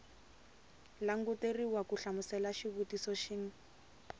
languteriwa ku hlamula xivutiso xin